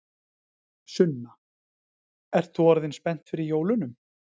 Sunna: Ert þú orðin spennt fyrir jólunum?